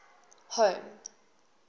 home